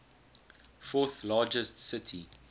fourth largest city